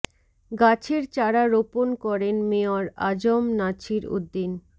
গাছের চারা রোপণ করেন মেয়র আ জ ম নাছির উদ্দীন